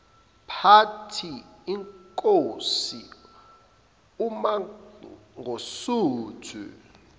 party inkosi umangosuthu